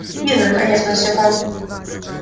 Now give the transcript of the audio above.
ир наконец спросил он